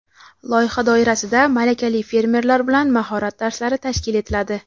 Loyiha doirasida malakali fermerlar bilan mahorat darslari tashkil etiladi.